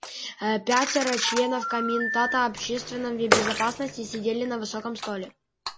пятеро членов комитета общественной безопасности сидели за высоким столе